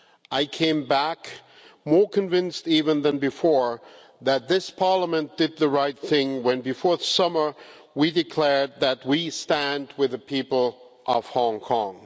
I came back even more convinced than before that this Parliament did the right thing when, before the summer, we declared that we stand with the people of Hong Kong.